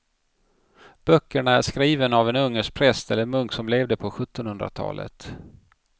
Böckerna är skrivna av en ungersk präst eller munk som levde på sjuttonhundratalet.